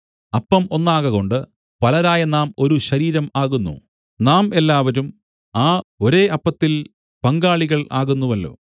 അപ്പം ഒന്നാകകൊണ്ട് പലരായ നാം ഒരു ശരീരം ആകുന്നു നാം എല്ലാവരും ആ ഒരേ അപ്പത്തിൽ പങ്കാളികൾ ആകുന്നുവല്ലോ